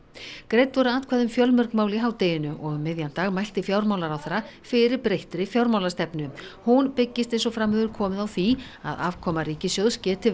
greidd voru atkvæði um fjölmörg mál í hádeginu og um miðjan dag mælti fjármálaráðherra fyrir breyttri fjármálastefnu hún byggist eins og fram hefur komið á því að afkoma ríkissjóðs geti